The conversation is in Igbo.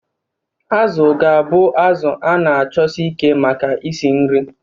Azu ga-abụ azụ a na-achọsi ike maka isi nri.